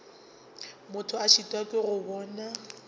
motho a šitwa go bona